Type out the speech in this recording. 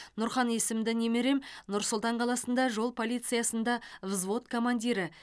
нұрхан есімді немерем нұр сұлтан қаласында жол полициясында взвод командирі